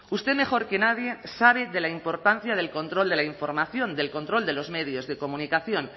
usted mejor que nadie sabe de la importancia del control de la información del control de los medios de comunicación